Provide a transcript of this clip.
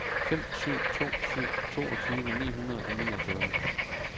fem syv to syv toogtyve ni hundrede og niogfyrre